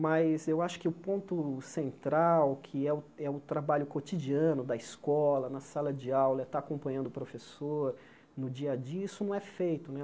Mas eu acho que o ponto central, que é o é o trabalho cotidiano da escola, na sala de aula, é estar acompanhando o professor no dia a dia, isso não é feito né.